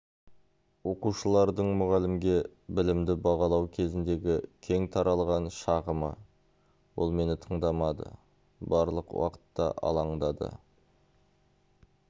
оқушылардың мұғалімге білімді бағалау кезіндегі кең таралған шағымы ол мені тыңдамады барлық уақытта алаңдады